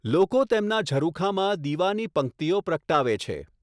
લોકો તેમના ઝરૂખામાં દિવાની પંક્તિઓ પ્રગટાવે છે.